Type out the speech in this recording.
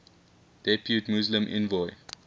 depute muslim envoy